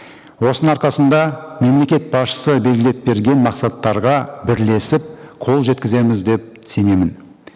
осының арқасында мемлекет басшысы белгілеп берген мақсаттарға бірлесіп қол жеткіземіз деп сенемін